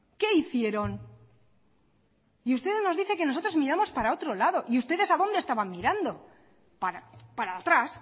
qué hicieron y usted nos dice que nosotros miramos para otro lado y ustedes para dónde estaban mirando para atrás